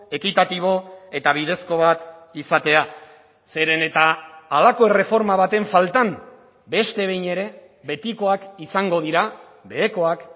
ekitatibo eta bidezko bat izatea zeren eta halako erreforma baten faltan beste behin ere betikoak izango dira behekoak